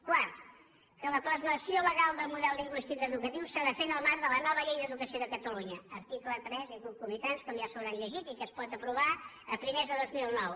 quart que la plasmació legal del model lingüístic educatiu s’ha de fer en el marc de la nova llei d’educa·ció de catalunya article tres i concomitants com ja s’ho hauran llegit i que es pot aprovar a primers de dos mil nou